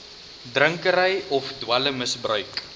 drinkery of dwelmgebruik